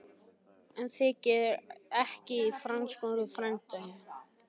En það þykir ekki í frásögur færandi.